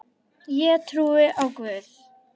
Ég trúi á Guð!